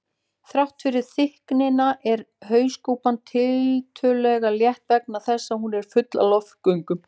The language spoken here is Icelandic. Þrátt fyrir þykktina er hauskúpan tiltölulega létt vegna þess að hún er full af loftgöngum.